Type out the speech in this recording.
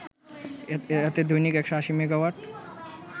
এতে দৈনিক ১৮০ মেগাওয়াট